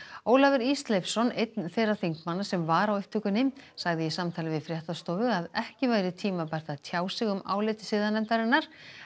Ólafur Ísleifsson einn þeirra þingmanna sem var á upptökunni sagði í samtali við fréttastofu að ekki væri tímabært að tjá sig um álit siðanefndarinnar